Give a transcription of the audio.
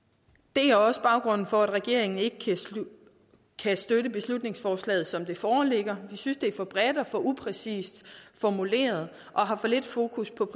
det er også baggrunden for at regeringen ikke kan støtte beslutningsforslaget som det foreligger vi synes det er for bredt og for upræcist formuleret og har for lidt fokus på